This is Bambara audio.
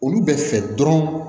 Olu bɛ fɛ dɔrɔn